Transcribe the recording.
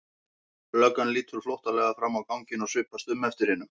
Löggan lítur flóttalega fram á ganginn og svipast um eftir hinum.